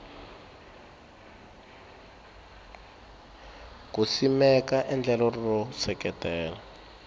ku simeka endlelo ro seketela